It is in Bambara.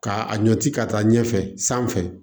Ka a ɲɔ ci ka taa ɲɛfɛ sanfɛ